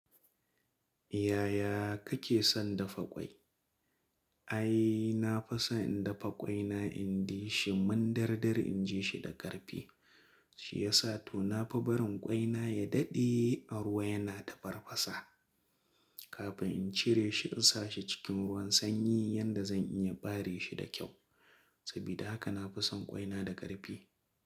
Yaya kake son dafa ƙwai? Ai, na fison in dafa ƙwaina, in di shi, mun durdur in ji shi da ƙarfi. Shi ya sa to na fi barin ƙwaina ya dade a ruwa yana tafarfasa, kafin in cire shi in sa shi cikin ruwan sanyi yanda zan iya ɓare shi da kyau. Sabida haka na fi son ƙwaina da ƙarfi.